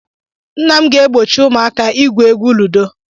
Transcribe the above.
Nna m ga-egbochi ụmụaka igwu egwu ludo